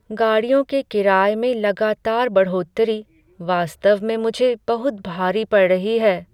गाड़ियों के किराए में लगातार बढ़ोत्तरी वास्तव में मुझे बहुत भारी पड़ रही है।